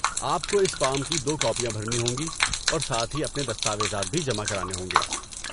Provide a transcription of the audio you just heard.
آپ کو اس فارم کی دو کاپیاں بھرنی ہوں گی اور ساتھ ہی اپنے دستاویزات بھی جمع کرانے ہوں گے۔